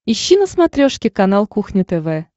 ищи на смотрешке канал кухня тв